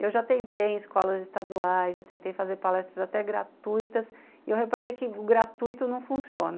Eu já tentei em escolas estaduais, já tentei fazer palestras até gratuitas, e eu reparei que o gratuito não funciona.